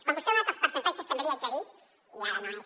quan vostè ha donat els percentatges també li haig de dir i ara no és